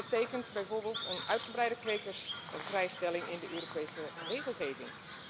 Dat betekent bijvoorbeeld een uitgebreide kwekersvrijstelling in de Europese regelgeving.